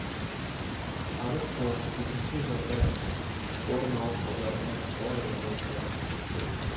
арыс қаласы төтенше жағдай орын алу салдарынан қала эвакуациялық жабық болды